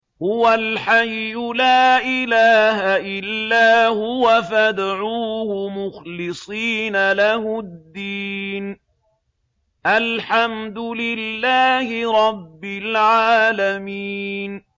هُوَ الْحَيُّ لَا إِلَٰهَ إِلَّا هُوَ فَادْعُوهُ مُخْلِصِينَ لَهُ الدِّينَ ۗ الْحَمْدُ لِلَّهِ رَبِّ الْعَالَمِينَ